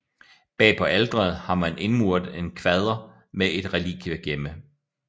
Bag på alteret har man indmuret en kvader med et relikviegemme